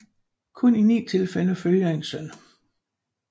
Kun i ni tilfælde følger en søn